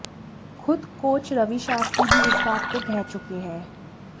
खुद कोच रवि शास्त्री भी इस बात को कह चुके हैं